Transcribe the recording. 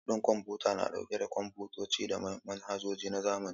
Lab ɗin kwamfuta na ɗauke da kwamfutoci da manhajoji na zamani.